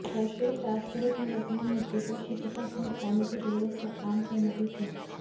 सर्वश्रेष्ठ राष्ट्रहित में वर्तमान मुद्दे को शीघ्रता से निपटाने की जरूरत पर आम सहमति थी